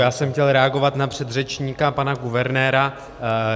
Já jsem chtěl reagovat na předřečníka, pana guvernéra.